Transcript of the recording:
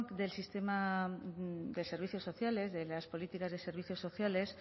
de servicios sociales de las políticas de servicios sociales